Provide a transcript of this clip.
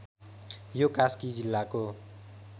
यो कास्की जिल्लाको